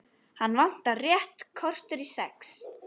Hana vantar rétt kortér í sex.